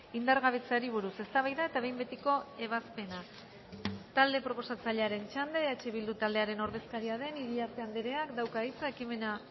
indargabetzeari buruz eztabaida eta behin betiko ebazpena talde proposatzailearen txanda eh bildu taldearen ordezkari den iriarte andereak dauka hitza ekimena